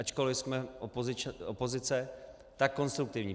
Ačkoliv jsme opozice, tak konstruktivní.